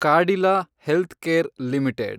Cadila healthcare limited